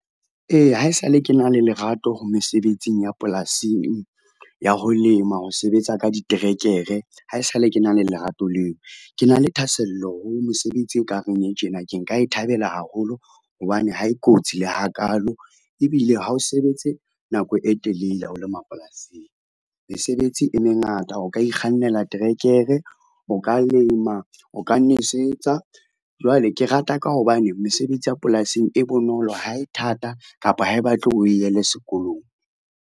Ee haesale ke na le lerato ho mesebetsing ya polasing ya ho lema, ho sebetsa ka diterekere, haesale ke na le lerato leo. Ke na le thahasello ho mosebetsi e ka reng e tjena ke nka e thabela haholo hobane ha e kotsi le hakalo. Ebile ha o sebetse nako e telele ha o lema polasing, mesebetsi e mengata o ka ikgannela trekere, o ka lema, o ka nwesetsa. Jwale ke rata ka hobane mesebetsi ya polasing e bonolo ha e thata kapa ha e batle oe yele sekolong.